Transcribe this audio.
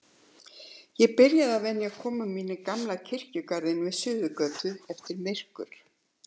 Ég byrjaði að venja komur mínar í gamla kirkjugarðinn við Suðurgötu eftir myrkur.